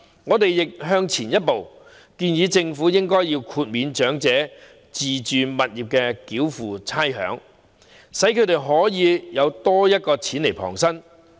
我們亦多走一步，建議政府豁免長者自住物業繳付差餉，讓他們可以有多些錢旁身。